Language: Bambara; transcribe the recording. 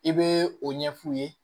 I bɛ o ɲɛ f'u ye